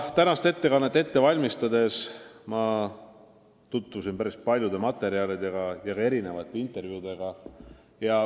Tänast ettekannet ette valmistades ma tutvusin päris paljude materjalidega ja ka mitmesuguste intervjuudega.